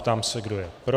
Ptám se, kdo je pro?